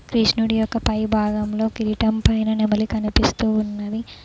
కృష్ణుడి యొక్క పై భాగంలో కిరీటం పైన నెమలి కనిపిస్తూ ఉన్నది.